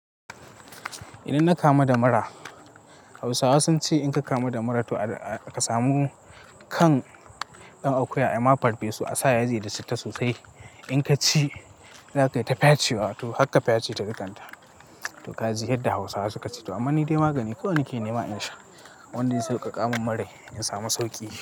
Idan na kamu da mura Hausawa sun ce in ka kama da mura to ka samu kan ɗan akuya. Aima farfesu a sa yaji da citta sosai. In ka ci, zakai ta fyace wa to harka fyace ta dukanta. To kaki yadda Hausawa suka ce to, toh amma nidai magani ko wane ke nema in sha. Wanda zai saukaka min murai in samu sauki.